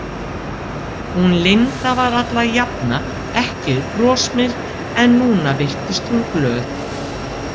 Hún Linda var alla jafna ekki brosmild en núna virtist hún glöð.